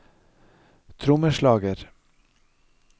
trommeslager